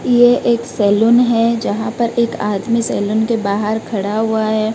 ये एक सैलून है जहां पर एक आदमी सैलून के बाहर खड़ा हुआ है।